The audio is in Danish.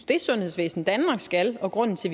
det sundhedsvæsen danmark skal og grunden til